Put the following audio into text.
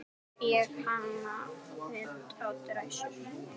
Ég hanna föt á dræsur.